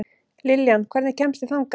Liljan, hvernig kemst ég þangað?